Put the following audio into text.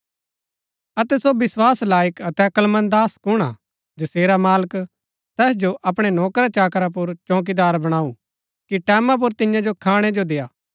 अतै सो विस्वास लायक अतै अक्‍लमंद दास कुण हा जसेरा मालक तैस जो अपणै नौकराचाकरा पुर चौंकीदार बणाऊ कि टैमां पुर तियां जो खाणै जो देय्आ